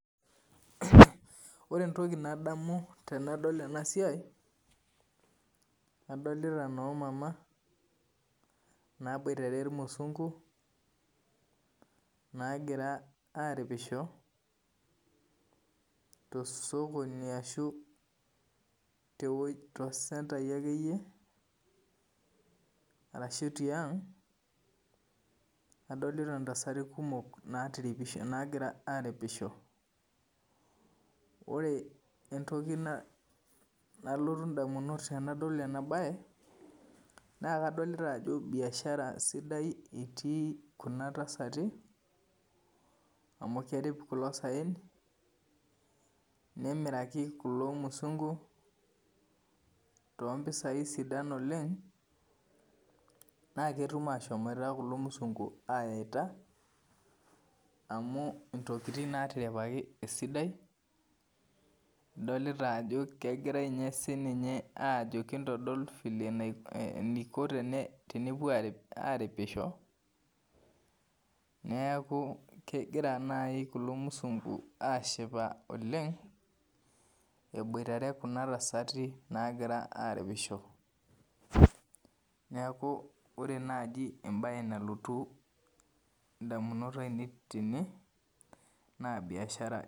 Ore entoki nadamu tanadol enasiai, kadolta nomama naboitare irmusungu nagira aripisho tosokoni ashu tosentai akeyie ashu tiang adolita ntasati nagira aripisho ore entoki nalotu ndamunot tanadol enabae na kadolta ajo biashara sidai etii kuna tasati amu kerip kulo saen nemiraki kulo musungu tompisai sidan oleng naketum ainoto mpisai sidan amu intokitin natimiraki esidai adolita nye ajo sinye ajo kintodolu vile eniko tenepuo aripisho neaku kegira nai kulo musungu ashipa oleng eboitare kuna tasati nagira aripisho neaku ore nai embae nalotu ndamunot ainei tene na biashara.